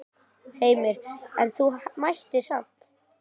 Heimir: En þú mættir samt?